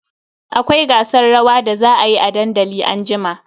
Akwai gasar rawa da za a yi a dandali anjima.